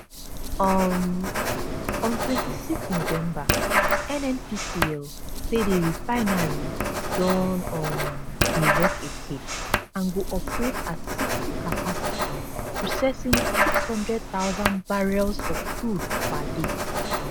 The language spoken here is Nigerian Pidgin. um on 26 november nnpcl say di refinery don um dey work again and go operate at 60 capacity processing 600000 barrels of crude per day